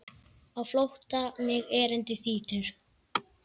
Á flótta mig erindi þrýtur.